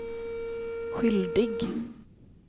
skyldig